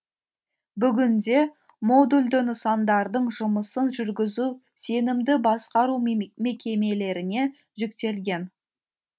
бүгінде модульді нысандардың жұмысын жүргізу сенімді басқару мекемелеріне жүктелген